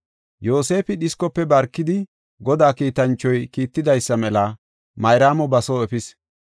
Yoosefi dhiskofe barkidi Godaa kiitanchoy kiittidaysa mela Mayraamo ba soo efis.